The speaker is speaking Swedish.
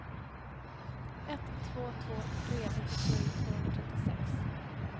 ett två två tre nittiosju tvåhundratrettiosex